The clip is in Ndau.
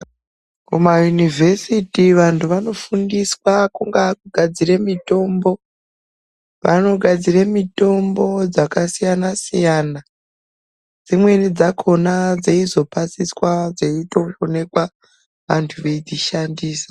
Kumayunivhesiti vantu vanofundiswa kungava kugadzire mitombo vanogadzire mitombo dzakasiyana siyana dzimweni dzakona dzeizopasiswa dzeitoonekwa vantu veidzishandisa .